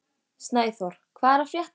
Snæþór, hvað er að frétta?